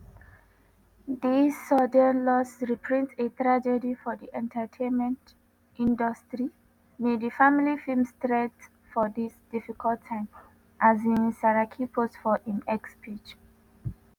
“dis sudden loss repreent a tragedy for di entertainment industry may di family fin strength for dis difficult time” um saraki post for im x page.